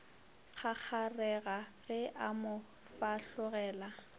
kgakgarega ge a mo fahlogela